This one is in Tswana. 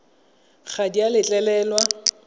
ga di a letlelelwa go